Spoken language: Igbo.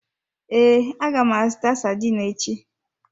Ee, aga m azụta sardine echi.